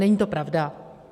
Není to pravda.